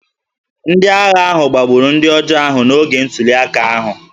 Ndị agha ahụ gbagburu ndị ọjọọ ahụ n’oge ntuliaka ahụ